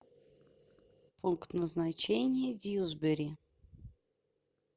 пункт назначения дьюсбери